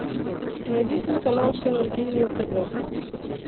найди телеканал синергия на тв